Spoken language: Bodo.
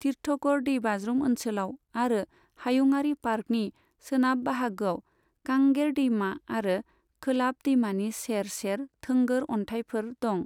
तिरथगढ़ दैबाज्रुम ओनसोलाव आरो हायुङारि पार्कनि सोनाब बाहागोआव कांगेर दैमा आरो कोलाब दैमानि सेर सेर थोंगोर अन्थाइफोर दं।